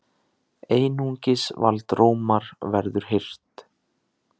Einungis vald Rómar verður hirt!